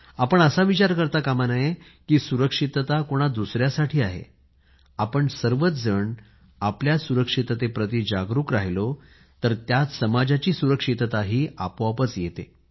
आपण असा विचार करता कामा नये की सुरक्षितता कोणा दुसऱ्यासाठी आहे आपण सर्वजण आपल्या सुरक्षितते प्रती जागरूक राहिलो तर त्यात समाजाची सुरक्षितताही आपोआपच येते